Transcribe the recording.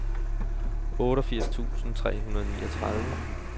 otteogfirs tusind tre hundrede og niogtredive